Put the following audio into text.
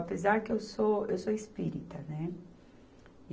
Apesar que eu sou, eu sou espírita, né?